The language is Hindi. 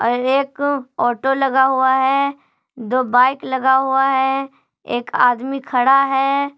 एक ऑटो लगा हुआ है दो बाइक लगा हुआ है एक आदमी खड़ा है।